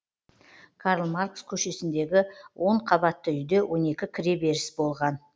карл маркс көшесіндегі он қабатты үйде он екі кіреберіс болған